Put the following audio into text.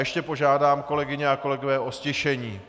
Ještě požádám, kolegyně a kolegové o ztišení.